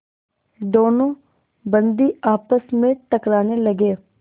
दोनों बंदी आपस में टकराने लगे